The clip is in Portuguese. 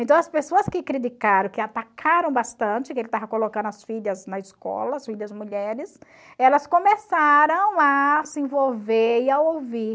Então, as pessoas que criticaram, que atacaram bastante, que ele estava colocando as filhas na escola, as filhas mulheres, elas começaram a se envolver e a ouvir.